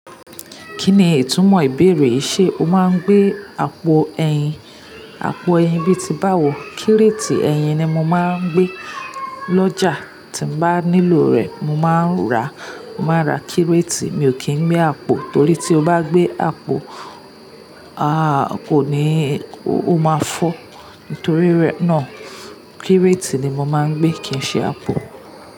Kí ni ìtumọ̀ ìbéèrè yìí? Ṣé o máa ń gbé àpò ẹyin? Àpò ẹyin bíi ti báwo? Kírétì ẹyin ni mo máa ń gbé. L'ọ́jà tí mo bá nílò rẹ̀, mo máa ń ra, mo máa ra kírétì. Mi ò kí ń gbé àpò torí tí o bá gbé àpò, aà kò ní o máa fọ́. Nítorí rẹ̀ náà, kírétì ni mo máa ń gbé kì í ṣe àpò.